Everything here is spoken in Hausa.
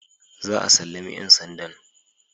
Za a sallami ‘yan sandan